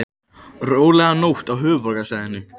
Róleg nótt á höfuðborgarsvæðinu